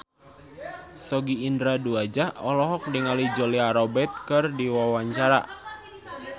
Sogi Indra Duaja olohok ningali Julia Robert keur diwawancara